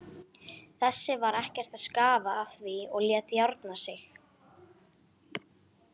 Þessi var ekkert að skafa af því og lét járna sig.